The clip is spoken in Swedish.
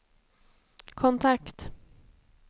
kontakt